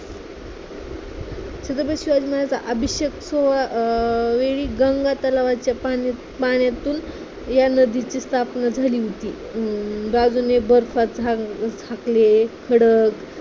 छत्रपती शिवाजी महाराज्यांच्या अभिषेक अं वेळी गंगा तलावाच्या पाण्या पाण्यातून या नदीची स्थापना झाली होती. अं बाजूने बर्फात झा झाकलेले खडक